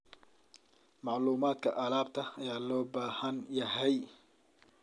Macluumaadka alaabta ayaa loo baahan yahay.